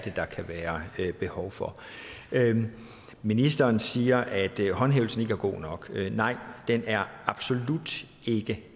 der kan være behov for ministeren siger at håndhævelsen ikke er god nok nej den er absolut ikke er